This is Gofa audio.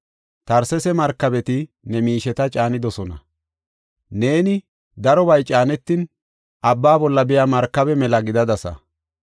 “Tarsesa markabeti ne miisheta caanidosona. Neeni darobay caanetin, abba bolla biya markabe mela gidadasa.